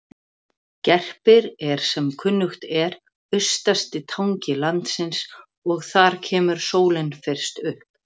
Gerpir er sem kunnugt er austasti tangi landsins og þar kemur sólin fyrst upp.